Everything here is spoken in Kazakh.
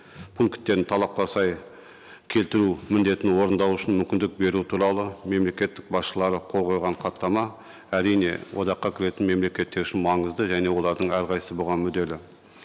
пункттерін талапқа сай келтіру міндетін орындау үшін мүмкіндік беру туралы мемлекеттік басшылары қол қойған хаттама әрине одаққа кіретін мемлекеттер үшін маңызды және олардың әрқайсысы бұған мүдделі